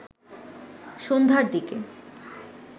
সন্ধ্যার দিকে